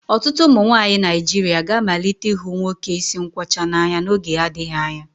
Ọtụtụ ụmụ nwanyị Naijiria ga-amalite ịhụ nwoke isi nkwọcha n'anya n'oge adịghị anya